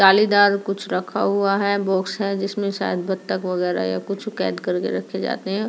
कुछ रखा हुआ है बॉक्स है जिसमे शायद बतख वगैरा या कुछ कैद कर के रखे जाते है।